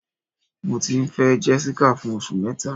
Mọ ti n fẹ Jessica fún ọṣù mẹta